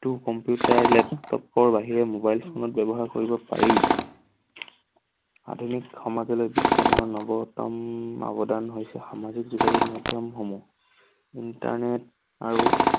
টো কম্পিউটাৰ, লেপটপৰ বাহিৰেও mobile phone ত ব্যৱহাৰ কৰিব পাৰি। আধুনিক সমাজলৈ বিজ্ঞানৰ নৱতম অৱদান হৈছে সামাজিক যোগাযোগ মাধ্যমসমূহ। internet আৰু